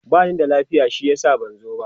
bani da lafiya shi yasa ban zo ba